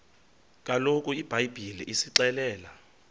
kaloku ibhayibhile isixelela